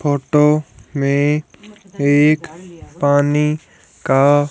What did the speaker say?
photo में एक पानी का--